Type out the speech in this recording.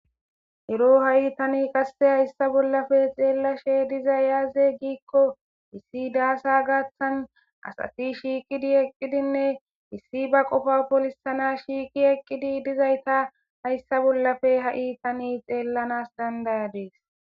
Ero hai tani qasse hayssa bollafe xellashe diizay aaze giiko issi dasse gaththan asati shiqqidi eqqidinne issi ba qoffa pollisanas shiqqi eqqidi dizayssa hayssa bollappe tani hai xellanas dand'adiss.